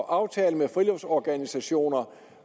at aftale med friluftsorganisationer